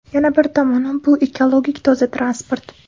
Yana bir tomoni, bu ekologik toza transport.